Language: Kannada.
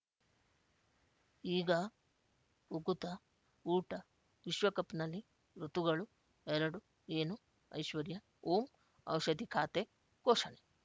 ಈಗ ಉಕುತ ಊಟ ವಿಶ್ವಕಪ್‌ನಲ್ಲಿ ಋತುಗಳು ಎರಡು ಏನು ಐಶ್ವರ್ಯಾ ಓಂ ಔಷಧಿ ಖಾತೆ ಘೋಷಣೆ